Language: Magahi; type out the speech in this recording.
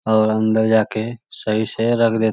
और अंदर जाके सही से रगड़े --